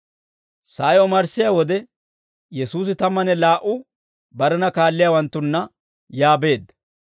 Sa'ay omarssiyaa wode Yesuusi tammanne laa"u barena kaalliyaawanttunna yaa beedda.